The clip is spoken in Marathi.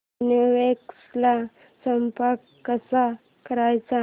ग्रीनवेव्स ला संपर्क कसा करायचा